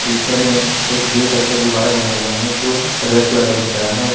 पीछे में एक दिल टाइप का गुब्बारा बना हुआ है जो रेड कलर का दिख रहा है।